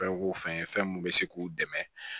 Fɛn o fɛn mun bɛ se k'u dɛmɛ